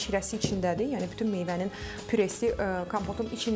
amma şirəsi içindədir, yəni bütün meyvənin püresi kompotun içindədir.